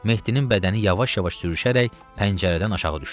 Mehdinin bədəni yavaş-yavaş sürüşərək pəncərədən aşağı düşdü.